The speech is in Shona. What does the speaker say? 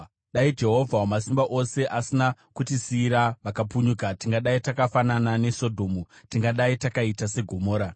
Dai Jehovha Wamasimba Ose asina kutisiyira vakapunyuka, tingadai takafanana neSodhomu, tingadai takaita seGomora.